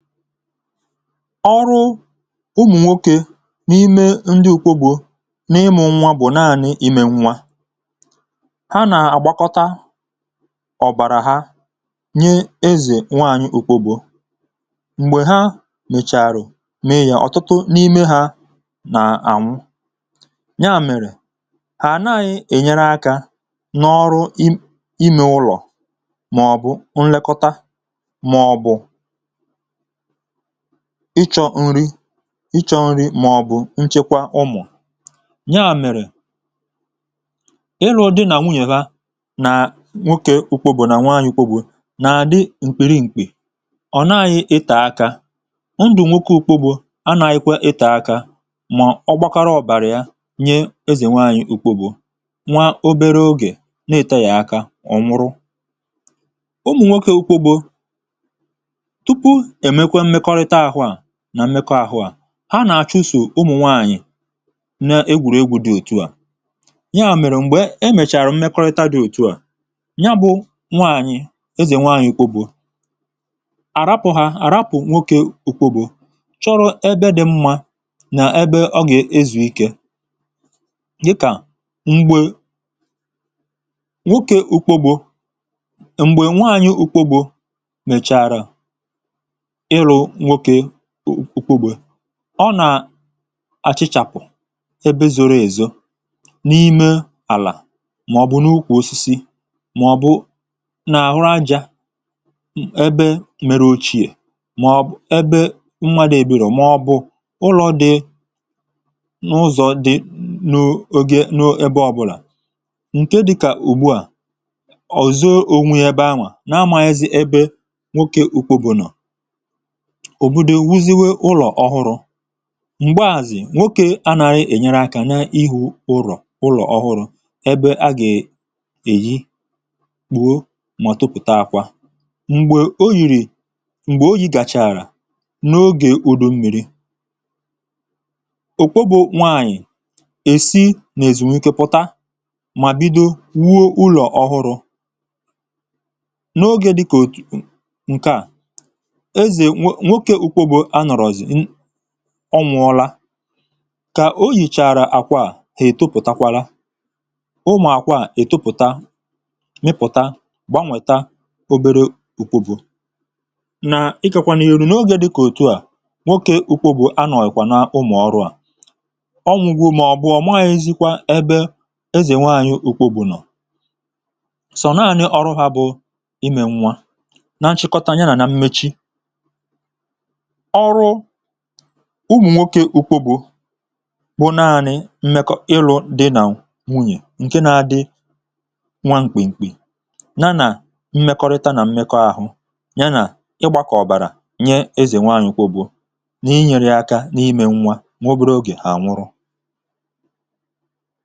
Ọrụ ụmụ̀nwokė n’ime ndị ùkwo n ịme gbuo n’ịmụ̇ nwa bụ̀ naanị̇ imė nwa. ha nà-àgbakọta ọ̀bàrà ha nye ezè nwaanyị̇ ùkwo gbȯ, m̀gbè ha mèchàrà mee yȧ ọ̀tụtụ n’ime hȧ nà-ànwụ. nya mèrè hà ànaghị̇ ènyere akȧ n’ọrụ im imė ụlọ̀, màọ̀bụ̀ nlekọta, màọ̀ bụ̀ ịchọ̇ nri̇ ịchọ nri̇, màọ̀bụ̀ nchekwa ụmụ̀. nyaà mèrè ịlụ̇ dị nà nwunyèwa nà nwoke ụkwụbụ̀ nà nwaanyị ụkwụbụ̀ nà-àdị m̀kpìrì mkpì, ọ̀ na-anyị̇ ità akȧ, ndụ̀ nwoke ụkwụbụ̀ anà-anyị̇kwa ità akȧ mà ọ gbakọrọ ọ̀bàrà ya nye ezì nweanyị̀ ụkwụbụ̀ nwa obere ogè na-ète yà aka ọ nwụrụ. ụmụnwọke ụ́kwọ bụ tụpụ ha emekwe mmekọrịta ahụ a, nà mmekọrịta ahụ̇ à ha nàà chụsò ụmụ̀ nwaànyị̀ n’egwùrù egwu̇ dị òtu à, ya mèrè m̀gbè emèchàrà mmekọrịta dị òtu à ya bụ̇ nwaànyị̀ ezè nwaànyị̀ kpọgbu àrapụ̀ hȧ àrapụ̀ nwokė ùkpògbu chọrọ̇ ebe dị mmȧ nà ebe ọgè ezùikė, dịkà m̀gbè nwokė ùkpogbo m̀gbè nwaànyị̀ ùkpogbo mèchàrà ịlụ nwọke ụ̀kwụgbė, ọ nà àchịchàpụ̀ ebe zoro èzò n’ime àlà, mà ọ̀ bụ n’ukwù osisi, mà ọ̀ bụ n’àhụ ajȧ ebe mere ochie, mà ọ̀ bụ̀ ebe mwȧdụ̇ èbìrò, mà ọ̀ bụ̀ ụlọ̇ dị n’ụzọ̇ dị n’o oge n’ebe ọbụlà ǹke dịkà ùgbù a, ọ̀zọ ònwù yȧ ebe ahnwȧ nà amȧghizi ebe nwokė ụ̀kwụ bụ̀ nọ̀, òbòdò wuziwe ụlọ̀ ọhụrụ, m̀gbèàzì nwoke a nàrị ènyere akȧ na-ihu ụlọ̀ ụlọ̀ ọhụrụ ebe a gèè èji kpùo mà tupùta akwȧ. m̀gbè o yìrì m̀gbè oyi̇ gàchààrà n’ogè ùdo mmi̇ri, ò kwobù nwaanyì èsi n’èzùnwékè pụ̀ta mà bido wuo ụlọ̀ ọhụrụ, n’ogè dịkà òtù ǹkèa okė ùkwe bụ anọ̀rọzị̀, ọnwụ ọla. kà o yìchàrà àkwà ètopụ̀takwala ụmụ̀àkwà ètopụ̀ta, mịpụ̀ta, gbànwèta obere ùkwebù. nà ikėkwà nà ìrù n’ogė dịkà òtu à nwokė ùkwebù anọ̀kwà na umù ọrụ̇ a, ọnwụ̇ gwụ̇ màọ̀bụ̀ ọ̀mụahịa ezikwa ebe ezè nwaànyị̀ ùkwebù nọ̀, sọ̀nàànyị̀ ọrụ hȧ bụ̀ imè nwa. na nchịkọta ya nà mmechi, ọrụ ụmụ̀ nwokė ụkwụ bụ̀ naanị̇ mmekọ ịlụ̇ di̇nà nwunyè ǹke na-adị nwa ṅkpì ṅkpì, na na mmekọrịtȧ nà mmekọ̇ ahụ̇, ya nà ịgbȧ kà ọ̀bàrà nye ezè nwaanyị̀ ụkwụ bụ̀ n’inyere akȧ n’imė nwa nwaobėrė ogè ànwụrụ.